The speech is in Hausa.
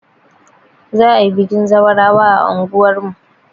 Za'a yi bikin zawarawa a anguwar mu.